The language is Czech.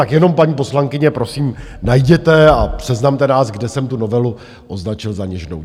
Tak jenom paní poslankyně, prosím, najděte a seznamte nás, kde jsem tu novelu označil za něžnou.